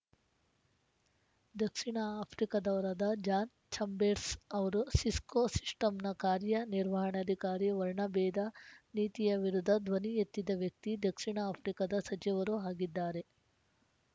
ದಕ್ಷಿಣ ಆಫ್ರಿಕಾದವರಾದ John Chambers ಅವರು Cisco ಶಿಸ್ಟಮ್‌ನ ಕಾರ್ಯ ನಿರ್ವಹಣಾಧಿಕಾರಿ ವರ್ಣಭೇದ ನೀತಿಯ ವಿರುದ್ಧ ಧ್ವನಿ ಎತ್ತಿದ ವ್ಯಕ್ತಿ ದಕ್ಷಿಣ ಆಫ್ರಿಕಾದ ಸಚಿವರೂ ಆಗಿದ್ದಾರೆ